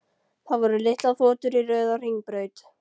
Það voru litlar þotur í röð á hringbraut.